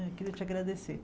Eu queria te agradecer.